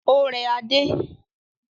Ó rẹ Adé.